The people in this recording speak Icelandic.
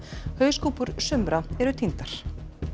hauskúpur sumra eru týndar